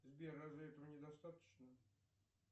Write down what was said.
сбер разве этого не достаточно